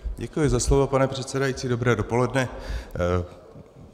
Děkuji za slovo, pane předsedající, dobré dopoledne.